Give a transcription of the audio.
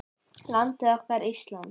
Landið okkar, Ísland.